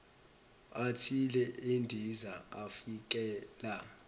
athile endiza avikela